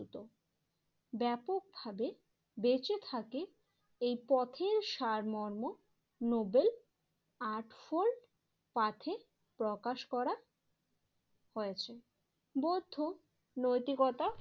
ব্যাপকভাবে বেঁচে থাকে এই পথের সারমর্ম নোবেল আর্ট ফোল্ড পাথে প্রকাশ করা হয়েছে। বৌদ্ধ নৈতিকতা